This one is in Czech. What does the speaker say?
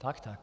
Tak tak.